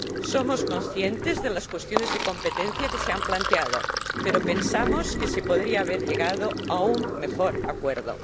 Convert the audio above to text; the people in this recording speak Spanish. Somos conscientes de las cuestiones de competencia que se han planteado, pero pensamos que se podría haber llegado a un mejor acuerdo.